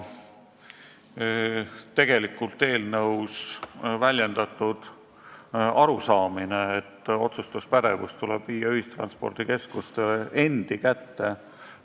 Tegelikult on eelnõus väljendatud arusaamine, et otsustuspädevus tuleb viia ühistranspordikeskuste endi kätte.